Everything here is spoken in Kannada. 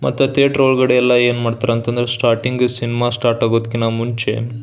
ಮತ್ತೆ ಥಿಯೇಟರ್ ಒಳಗಡೆ ಎಲ್ಲ ಏನ್ ಮಾಡ್ತರ್ ಅಂತ ಅಂದ್ರೆ ಸ್ಟಾರ್ಟಿಂಗ್ ಸಿನಿಮಾ ಸ್ಟಾರ್ಟ್ ಆಗೂದಕಿನ ಮುಂಚೆ --